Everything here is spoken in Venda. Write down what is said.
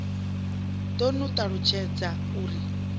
ḓo ni ṱalutshadza u ri